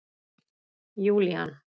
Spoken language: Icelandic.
Júlían